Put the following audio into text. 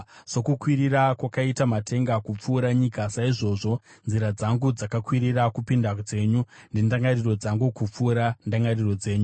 “Sokukwirira kwakaita matenga kupfuura nyika, saizvozvo nzira dzangu dzakakwirira kupinda dzenyu, nendangariro dzangu kupfuura ndangariro dzenyu.